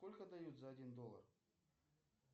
сколько дают за один доллар